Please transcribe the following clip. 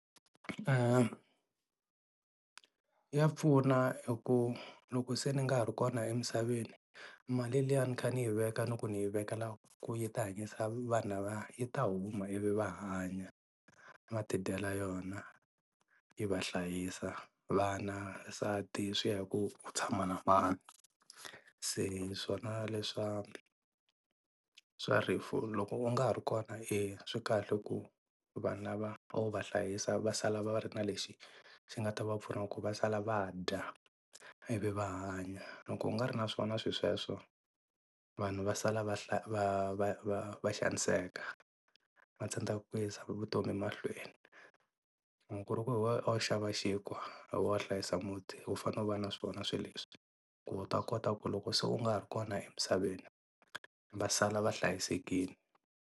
Ya pfuna eku loko se ni nga ha ri kona emisaveni mali liya a ni kha ni yi veka ni ku ni yi vekela ku yi ta hanyisa vana va yi ta huma ivi va hanya va tidyela yona yi va hlayisa vana, nsati swi ya hi ku tshama na mani se swona leswa swa rifu loko u nga ha ri kona i swi kahle ku vanhu lava a wu va hlayisa va sala va ri na lexi xi nga ta va pfuna ku va sala va dya ivi va hanya loko u nga ri na swona swi sweswo vanhu va sala va va va va va xaniseka, va tsandzeka ku yisa vutomi mahlweni. Loko ku ri ku hi wena a wu xava xinkwa, hi we a wu hlayisa muti u fane u va na swona swilo leswi ku u ta kota ku loko se u nga ha ri kona emisaveni va sala va hlayisekile.